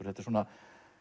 þetta er svona